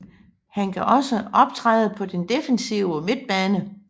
Han kan også optræde på den defensive midtbane